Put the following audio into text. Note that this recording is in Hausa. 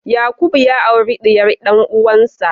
Yakubu ya auri diyar dan'uwansa.